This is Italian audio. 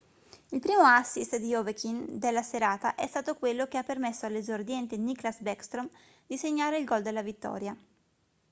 il primo assist di ovechkin della serata è stato quello che ha permesso all'esordiente nicklas backstrom di segnare il gol della vittoria